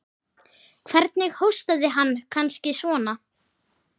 Hvernig hóstaði hann. kannski svona?